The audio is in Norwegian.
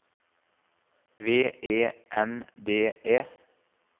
V E N D E